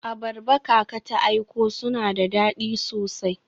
Abarba kaka ta aiko suna da dadi sosai.